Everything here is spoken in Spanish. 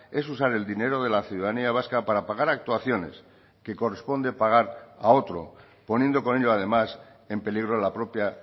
es usar el dinero de la ciudadanía vasca para pagar actuaciones que corresponde pagar a otro poniendo con ello además en peligro la propia